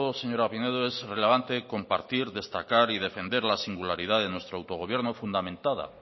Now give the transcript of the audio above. señora pinedo es relevante compartir destacar y defender la singularidad de nuestro autogobierno fundamentada